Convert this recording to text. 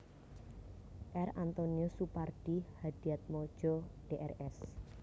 R Antonius Supardi Hadiatmodjo Drs